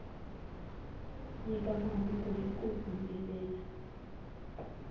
nyika mahungu hi ku humelela